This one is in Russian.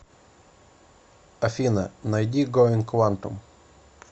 афина найди гоинг квантум